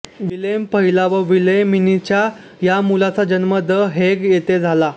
Willem पहिला व विल्हेमिनाच्या या मुलाचा जन्म द हेग येथे झाला